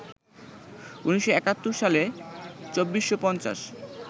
১৯৭১ সালে ২৪৫০